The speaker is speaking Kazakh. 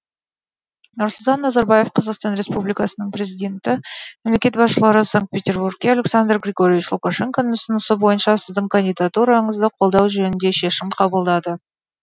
нұрсұлтан назарбаев қазақстан республикасының президенті мемлекет басшылары санкт петербургте александр григорьевич лукашенконың ұсынысы бойынша сіздің кандидатураңызды қолдау жөнінде шешім қабылдады